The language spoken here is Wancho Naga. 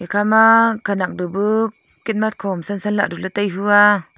ekha ma khenak bu bu kitmas kho hom nu san san ley tai tiya.